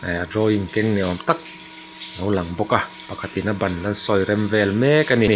keng ni awm tak alo lang bawk a pakhat in a ban a sawi rem vel mek a ni.